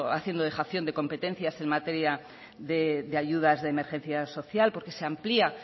haciendo dejación de competencias en materia de ayudas de emergencias social porque se amplía